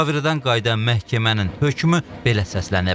Müşavirədən qayıdan məhkəmənin hökmü belə səslənib.